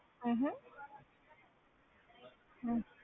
ਹਮ ਹਮ ਹਮ